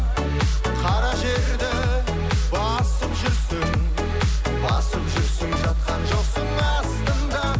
қара жерді басып жүрсің басып жүрсің жатқан жоқсың астында